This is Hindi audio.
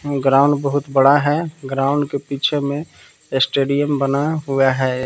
ग्राउंड बहुत बड़ा है ग्राउंड के पीछे में स्टेडियम बना हुआ है।